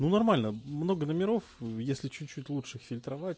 ну нормально много номеров если чуть-чуть лучше фильтровать